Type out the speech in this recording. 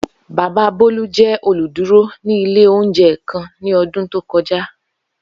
Baba Bolu jẹ oluduro ni ile ounjẹ kan ni ọdun to kọja